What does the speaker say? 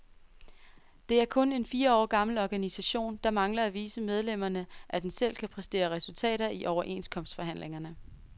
Det er kun en fire år gammel organisation, der mangler at vise medlemmerne, at den selv kan præstere resultater i overenskomstforhandlingerne.